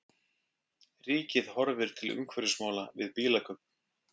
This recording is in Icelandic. Ríkið horfir til umhverfismála við bílakaup